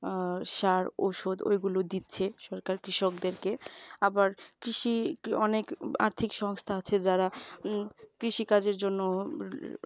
আহ সার ঔষধ ওইগুলো দিচ্ছে সরকার কৃষকদেরকে আবার কৃষি অনেক আর্থিক সংস্থা আছে যারা কৃষি কাজের জন্য উম